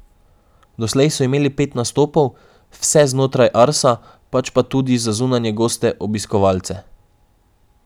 Doslej so imeli pet nastopov, vse znotraj Arsa, pač tudi za zunanje goste, obiskovalce.